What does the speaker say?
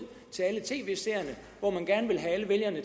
til alle tv seerne hvor man gerne ville have alle vælgerne